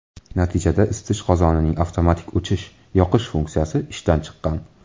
Natijada isitish qozonining avtomatik o‘chish-yoqish uskunasi ishdan chiqqan.